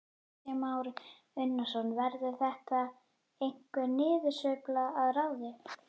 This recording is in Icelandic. Kristján Már Unnarsson: Verður þetta einhver niðursveifla að ráði?